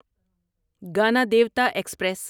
Ganadevta express